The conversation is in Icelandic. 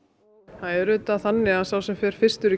það er auðvitað þannig að sá sem er fyrstur í